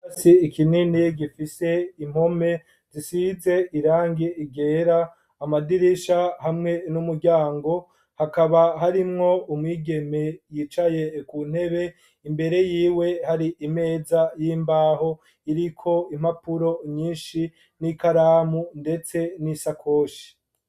Ikirasi kinini gifise impome zisize irangi ryera amadirisha hamwe n'umuryango hakaba harimwo umwigeme yicaye kuntebe Imbere yiwe Hari Imeza y’imbaho iriko impapuro nyinshi n'ikaramu mbese n’isakoshi.